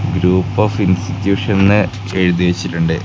Group of ഇൻസ്ടിട്യൂഷൻന്ന് എഴുതി വെച്ചിട്ടുണ്ട്.